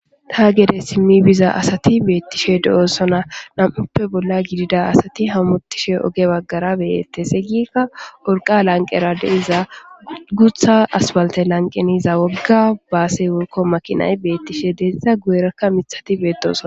Ta gede simmi biza asati beettishe de7osona nam7uppe bolla gidida asati hamutishe oge baggara beyette seyikka worqa lanqera deiza gutha aspalte lanqeniza wogga baase worko maqinay beettishe deeiza gu7erakka mithati beedosona.